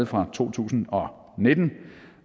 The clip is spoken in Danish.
fra to tusind og nitten